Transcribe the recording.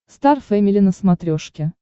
стар фэмили на смотрешке